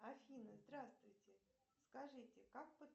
афина здравствуйте скажите как